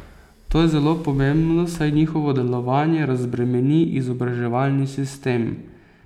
To je zelo pomembno, saj njihovo delovanje razbremeni izobraževalni sistem.